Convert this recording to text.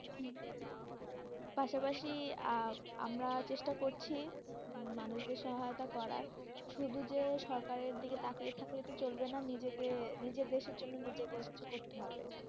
পাশাপাশি আমরা চেষ্টা করছি, মানুষদের সহয়তা করার, শুধু যে সরকারে দিকে তাকিয়ে থাকলে তো চলবে না, নিজে কে নিজের দেশের জন্য নিজে কে করতে হবে.